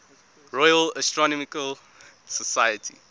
royal astronomical society